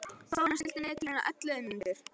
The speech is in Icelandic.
Þórar, stilltu niðurteljara á ellefu mínútur.